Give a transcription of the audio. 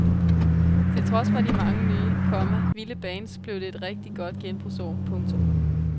Til trods for de mange nye, komma vilde bands blev det et rigtigt genbrugsår. punktum